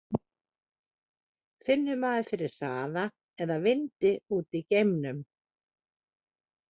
Finnur maður fyrir hraða eða vindi úti í geimnum?